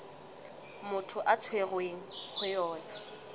motho a tshwerweng ho yona